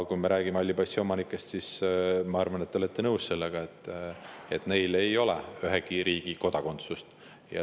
Kui me räägime halli passi omanikest, siis ma arvan, et te olete nõus, et neil ei ole ühegi riigi kodakondsust.